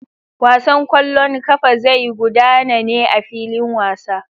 Wasan kwallon kafa zai gudana ne a filin wasa.